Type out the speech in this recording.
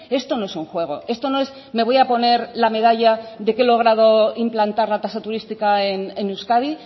esto no es un juego esto no es me voy a poner la medalla de que he logrado implantar la tasa turística en euskadi